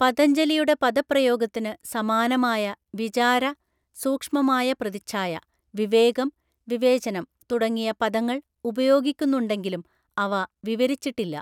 പതഞ്ജലിയുടെ പദപ്രയോഗത്തിന് സമാനമായ വിചാര (സൂക്ഷ്മമായ പ്രതിച്ഛായ), വിവേകം (വിവേചനം) തുടങ്ങിയ പദങ്ങൾ ഉപയോഗിക്കുന്നുണ്ടെങ്കിലും അവ വിവരിച്ചിട്ടില്ല.